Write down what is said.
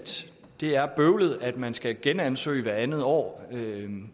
det er bøvlet at man skal genansøge hvert andet år